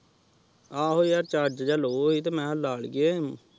ਆਹੋ ਯਾਰ ਚਾਰ੍ਗੇ ਜਾ ਲੋਵ ਹੈ ਤੇ ਮੈ ਲਾਨ ਗਯਾ